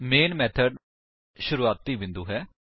ਮੈਨ method ਸ਼ੁਰੂਵਾਤੀ ਬਿੰਦੁ ਹੈ